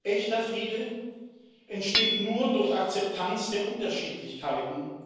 Echter Friede entsteht nur durch Akzeptanz der Unterschiedlichkeiten.